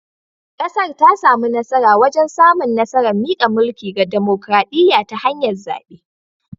Kasar ta samu nasara wajen samun nasarar mika mulki ga dimokradiyya ta hanyar zabe